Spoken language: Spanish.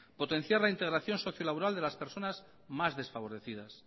potenciar la integración socio laboral de las personas más desfavorecidas